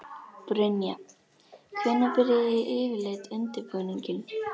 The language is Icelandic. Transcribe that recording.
Brynja: Hvenær byrjið þið yfirleitt undirbúninginn?